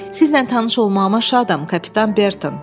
Sizlə tanış olmağıma şadam, kapitan Burton.